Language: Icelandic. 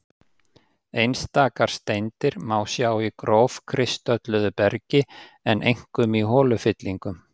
Einstakar steindir má sjá í grófkristölluðu bergi, en einkum í holufyllingum.